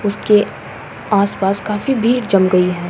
उसके आस-पास काफ़ी भीड़ जम गई है।